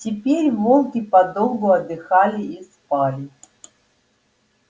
теперь волки подолгу отдыхали и спали